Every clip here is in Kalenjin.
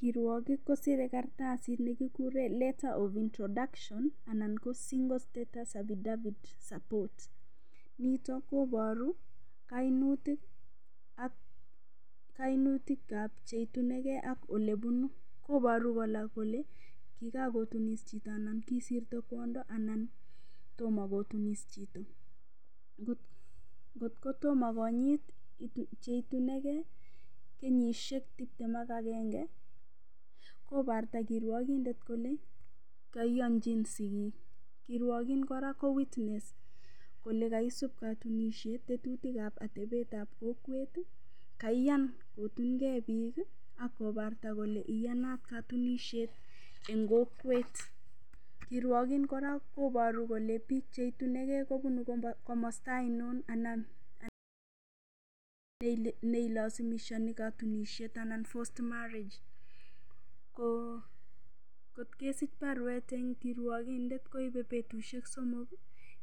Kirwokik kosirei karatasit nekikuree letter of introduction anan ko single status affidavit support nito koboru kainutikab cheitunigei ak olebunu koboru kora kole kikakotunis chito anan kisirto kwondo anan tomo kotunis chito kotkotomo konyit cheitunigei kenyishek tiptem ak agenge kobarta kirwokindet kole kaiyonjin sikik kirwokin kora ko [ca]witness kole kaisub katunishet tetutik ab atebetab kokwet kaiyan kotungei piik akobarta kole iyanat katunishet eng kokwet kirwokin kora koboru kole piik cheitunigei kobun komosta ainon anan neilasimishani katunishet anan forced marriage ko kotkesich baruet eng kirwokindet koibei betushek somok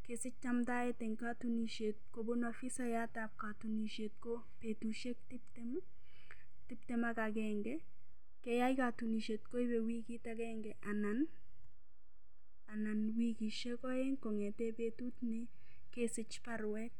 kesich chamtaet eng katunishet kobun ofisayatab katunishet ko betushiek tiptem ak agenge keyai katunishet koibei wikit agenge anan wikishek oeng kong'ete betut nekesich baruet